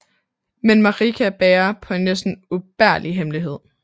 Men Marika bærer på en næsten ubærlig hemmelighed